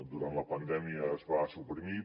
durant la pandèmia es va suprimir